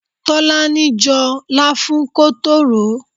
Tolani jọ láfún kótó ròó.